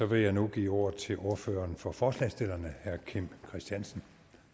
vil jeg nu give ordet til ordføreren for forslagsstillerne herre kim christiansen